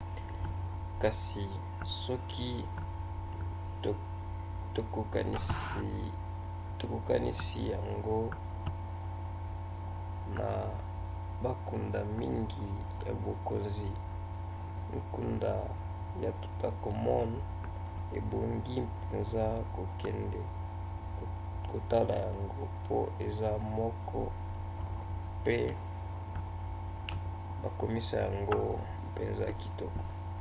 kasi soki tokokanisi yango na bankunda mingi ya bakonzi nkunda ya toutankhamon ebongi mpenza kokende kotala yango mpo eza moko mpe bakomisa yango mpenza kitoko